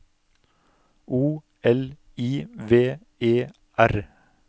O L I V E R